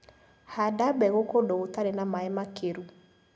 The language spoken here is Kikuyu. Handa mbegũ kũndũ gũtari na maĩ makĩru.